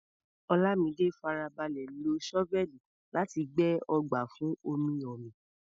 Olamide farabalẹ̀ lo ṣọ́fẹ́ẹ̀lì láti gbẹ́ ọgbà fún omi-omi.